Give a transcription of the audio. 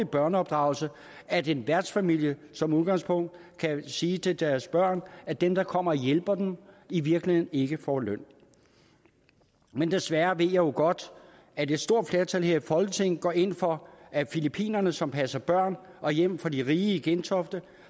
børneopdragelse at en værtsfamilie som udgangspunkt kan sige til deres børn at dem der kommer og hjælper dem i virkeligheden ikke får løn men desværre ved jeg jo godt at et stort flertal her i folketinget går ind for at filippinerne som passer børn og hjem for de rige i gentofte